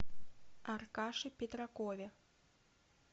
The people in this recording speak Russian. аркаше петракове